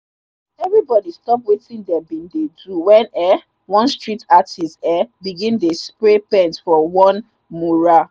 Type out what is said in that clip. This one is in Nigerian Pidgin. everybody stop wetin them bin dey do when um one street artist um begin dey spray paint for one mural.